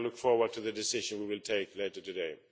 I look forward to the decision which we will take later today.